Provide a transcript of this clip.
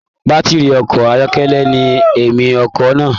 Batiri ọkọ ayọkẹlẹ ní ẹ̀mi ọkọ náà.